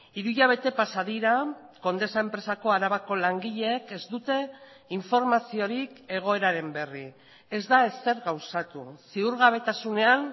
hiru hilabete pasa dira condesa enpresako arabako langileek ez dute informaziorik egoeraren berri ez da ezer gauzatu ziurgabetasunean